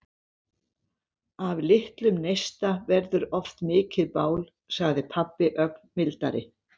Af litlum neista verður oft mikið bál, sagði pabbi ögn mildari.